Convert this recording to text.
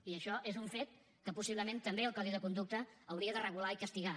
i això és un fet que possiblement també el codi de conducta hauria de regular i castigar